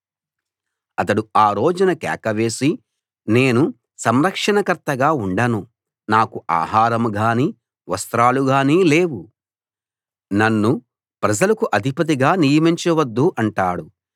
అతడు ఆ రోజున కేక వేసి నేను సంరక్షణ కర్తగా ఉండను నాకు ఆహారం గాని వస్త్రాలు గాని లేవు నన్ను ప్రజలకు అధిపతిగా నియమించవద్దు అంటాడు